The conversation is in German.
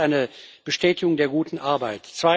Das ist eine Bestätigung der guten Arbeit.